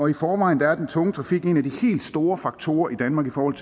i forvejen er den tunge trafik en af de helt store faktorer i danmark i forhold